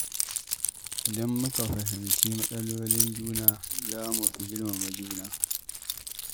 Idan muka fahimci matsalolin juna, za mu fi girmama juna.